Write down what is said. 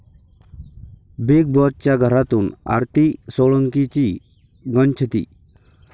Big बाॅसच्या घरातून आरती सोळंकीची गच्छंती!